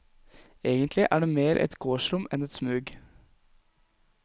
Egentlig er det mer et gårdsrom enn et smug.